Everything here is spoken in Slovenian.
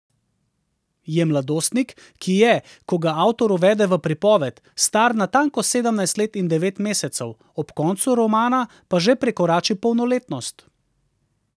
Je mladostnik, ki je, ko ga avtor uvede v pripoved, star natanko sedemnajst let in devet mesecev, ob koncu romana pa že prekorači polnoletnost.